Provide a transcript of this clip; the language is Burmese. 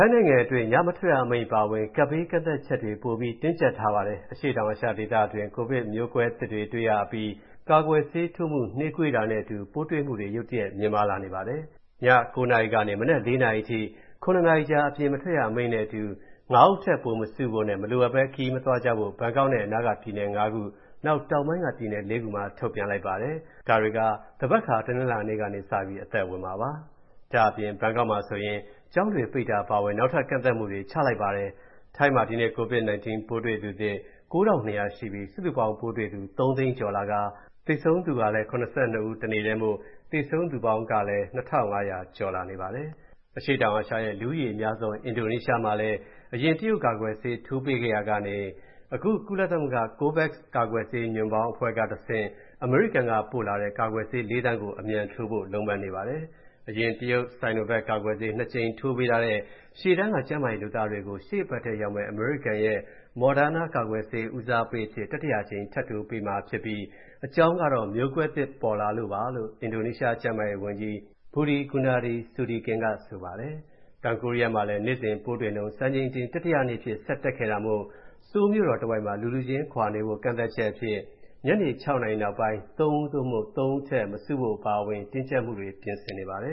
ိုင်းနိုင်ငံအတွင်း ညမထွက်ရအမိန့် အပါအဝင် ကပ်ဘေး ကန့်သတ်ချက်တွေ ပိုပြီး တင်းကျပ်ထားပါတယ်။ အရှေ့တောင်အာရှဒေသတွင်း ကိုဗစ်ပိုးမျိုးကွဲသစ် တွေ့နေရပြီး ကာကွယ်ဆေးထိုးမှု နှေးကွေးတာနဲ့အတူ ပိုးတွေ့မှုတွေ ရုတ်တရက် မြင့်မားလာနေပါတယ်။ ည ၉ နာရီကနေ မနက် ၄ နာရီအထိ ၇ နာရီကြာ အပြင်အထွက်ရအမိန့်နဲ့အတူ ၅ ဦးထက် ပိုမစုဖို့နဲ့ မလိုအပ်ဘဲ ခရီးမသွားကြဖို့ ဘန်ကောက်နဲ့ အနားက ပြည်နယ် ၅ ခု၊ နောက် တောင်ပိုင်းက ပြည်နယ် ၄ ခုမှာ ထုတ်ပြန်လိုက်ပါတယ်။ သန်ဘက်ခါ တနင်္လာကစပြီး အသက်ဝင်မှာပါ။ ဒါ့အပြင် ဘန်ကောက်မှာဆိုရင် ကျောင်းတွေပိတ်တာ အပါအဝင် နောက်ထပ် ကန့်သတ်မှုတွေ ချလိုက်ပါတယ်။ ထိုင်းမှာ ဒီနေ့ COVID-19 ပိုးတွေ့သူသစ် ၉,၂၀၀ ရှိပြီး စုစုပေါင်းပိုးတွေ့သူ ၃ သိန်းကျော်လာကာ သေဆုံးသူကလည်း ၇၂ ဦးမို့ သေဆုံးသူပေါင်းလည်း ၂,၅၀၀ ကျော်လာနေပါတယ်။ အရှေ့တောင်အာရှရဲ့ လူဦးရေအများဆုံး အင်ဒိုနီးရှားနိုင်ငံမှာလည်း အရင် တရုတ်ကာကွယ်ဆေး ထိုးပေးခဲ့ရာကနေ ကုလသမဂ္ဂ COVEX ကာကွယ်ဆေး ညွန့်ပေါင်းအဖွဲ့ကတဆင့် အမေရိကန်ကပို့လိုက်တဲ့ ကာကွယ်ဆေး ၄ သန်းကို အမြန်ထိုးဖို့ လုံးပန်းနေပါပြီ။ အရင် တရုတ် Sinovac ကာကွယ်ဆေး ၂ ကြိမ်ထိုးပေးထားတဲ့ ရှေ့တန်းက ကျန်းမာရေးလုပ်သားတွေကို ရှေ့အပတ်ရောက်မယ့် အမေရိကန် Moderna ကာကွယ်ဆေး ဦးစားပေးအဖြစ် တတိယအကြိမ် ထပ်ထိုးပေးမှာဖြစ်ပြီး အကြောင်းကတော့ မျိုးကွဲသစ်ပေါ်လာတာကြောင့်ပါလို့ အင်ဒိုနီးရှား ကျန်းမာရေးဝန်ကြီး Budi Gunadi Sadikin က ဆိုပါတယ်။ တောင်ကိုရီးယားမှာလည်း နေ့စဉ်ပိုးတွေ့နှုန်း စံချိန်တင် တတိယနေ့အဖြစ် ဆက်တက်ခဲ့တာမို့ ဆိုးလ်မြို့တော်တဝိုက်မှာ လူလူချင်းခွာနေဖို့ ကန့်သတ်ချက်အဖြစ် ညနေ ၆ နာရီနောက်ပိုင်း ၃ ဦး (သို့) ၃ ဦးအထက် မစုဖို့ အပါအဝင် တင်းကျပ်မှုတွေ ပြင်ဆင်နေပါတယ